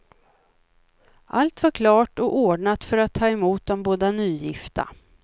Allt var klart och ordnat för att ta emot de båda nygifta.